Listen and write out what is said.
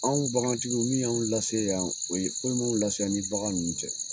Anw bagantigiw min y'a lase yan, o ye foyi m'an lase yan ni bagan ninnu tɛ.